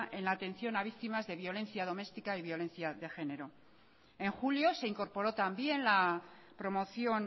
en la atención a las víctimas de violencia doméstica y violencia de género en julio se incorporó también la promoción